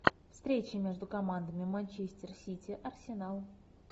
встреча между командами манчестер сити арсенал